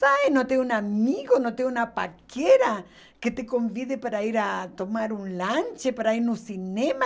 Sai, não tem um amigo, não tem uma paquera que te convide para ir tomar um lanche, para ir ao cinema?